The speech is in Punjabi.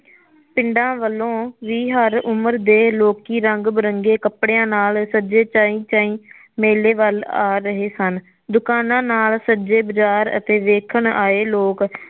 ਪਿੰਡਾ ਵਲੋਂ ਵੀ ਹਰ ਉਮਰ ਦੇ ਲੋਕੀ ਰੰਗ ਬਿਰੰਗੇ ਕੱਪੜੀਆਂ ਨਾਲ ਸੱਜੇ ਚਾਈ ਚਾਈ ਮੇਲੇ ਵੱਲ ਆ ਰਹੇ ਸਨ ਦੁਕਾਨਾ ਨਾਲ ਸੱਜੇ ਬਾਜ਼ਾਰ ਅਤੇ ਵੇਖਣ ਆਏ ਲੋਕ